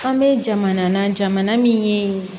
An bɛ jamana na jamana min ye